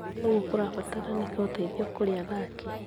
Ũguo kũrabataranĩka ũteithio kũrĩ athaki.